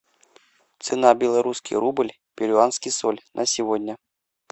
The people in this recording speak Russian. цена белорусский рубль перуанский соль на сегодня